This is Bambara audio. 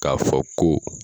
K'a fɔ ko